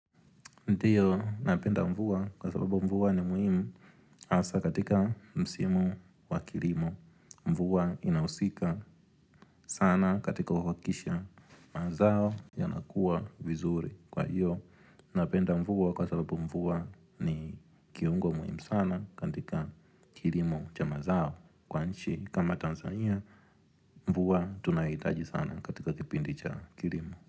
Ndiyo, napenda mvua kwa sababu mvua ni muhimu asa katika msimu wa kilimo. Mvua inausika sana katika wakisha mazao yanakuwa vizuri kwa hiyo Napenda mvua kwa sababu mvua ni kiungo muhimu sana katika kilimo cha mazao. Kwa nchi kama Tanzania, mvua tunaitaji sana katika kipindi cha kilimo.